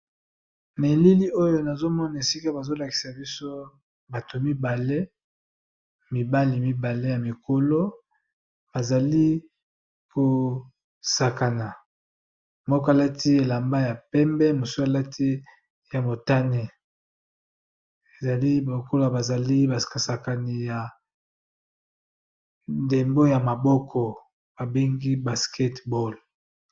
Na elili oyo nazomona esika bazolakisa biso bato mibale mibali mibale ya mikolo bazali kosakana moko alati elamba ya pembe mosu alati ya motane ezali baokola bazali basakani ya ndembo ya maboko babengi basketeball.